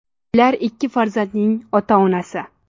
Ular ikki farzandning ota-onasi.